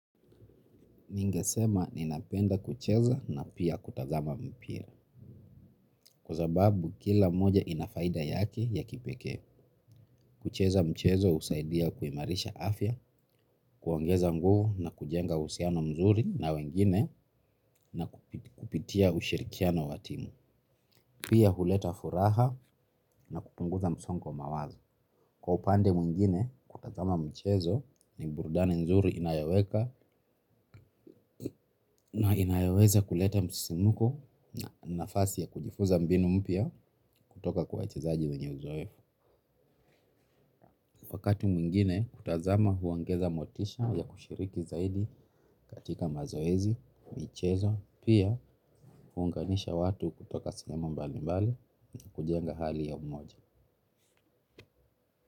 Ningesema ninapenda kucheza na pia kutazama mpira. Kwa sababu kila moja ina faida yake ya kipekee. Kucheza mchezo husaidia kuimarisha afya, kuongeza nguvu na kujenga uhusiano mzuri na wengine na kupitia ushirikiano wa timu. Pia huleta furaha na kupunguza msongo wa mawazo. Kwa upande mwingine, kutazama mchezo ni burudani nzuri inayoweka na inayoweza kuleta msisimuko na nafasi ya kujifunza mbinu mpya kutoka kwa wachechezaaji mwenye uzoefu. Wakati mwingine, kutazama huongeza motisha ya kushiriki zaidi katika mazoezi, michezo, pia huunganisha watu kutoka sinema mbali mbali na kujenga hali ya umoja.